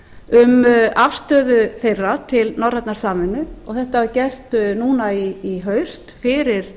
um afstöðu þeirra til norrænnar samvinnu þetta var gert núna í haust fyrir